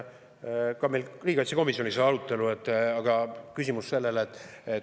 Ka riigikaitsekomisjonis oli arutelu.